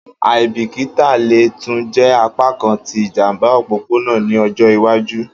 Aibikita le tun jẹ apakan ti ijamba opopona ni ọjọ iwaju.